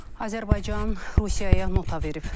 Azərbaycan Rusiyaya nota verib.